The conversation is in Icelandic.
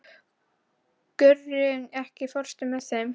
Gurrí, ekki fórstu með þeim?